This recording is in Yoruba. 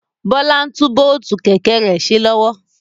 Bọlá ń tún bóótù Kẹ̀kẹ́ rẹ ṣe lọ́wọ́